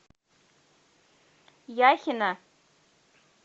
яхина